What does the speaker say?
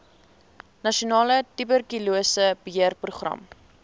nasionale tuberkulose beheerprogram